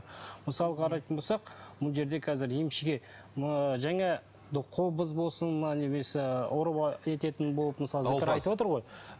мысалы қарайтын болсақ мына жерде қазір емшіге мына жаңа қобыз болсын мына немесе ететін болып мысалы